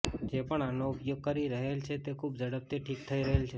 જે પણ આનો ઉપયોગ કરી રહેલ છે તે ખુબ ઝડપથી ઠીક થઇ રહેલ છે